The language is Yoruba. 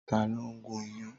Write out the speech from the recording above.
Tàló n gún iyán?